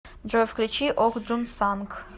джой включи ох джун санг